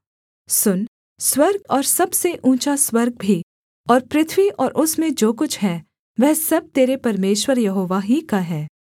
सुन स्वर्ग और सबसे ऊँचा स्वर्ग भी और पृथ्वी और उसमें जो कुछ है वह सब तेरे परमेश्वर यहोवा ही का है